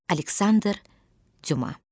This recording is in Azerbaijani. Aleksandr Cuma.